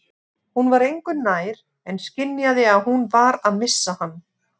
Hún var engu nær en skynjaði að hún var að missa hann.